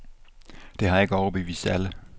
Det har ikke overbevist alle.